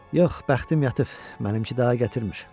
Yox, bəxtim yatıb, mənimki daha gətirmir.